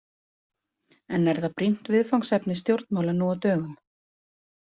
En er það brýnt viðfangsefni stjórnmála nú á dögum?